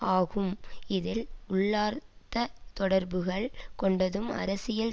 ஆகும் இதில் உள்ளார்த்த தொடர்புகள் கொண்டதும் அரசியல்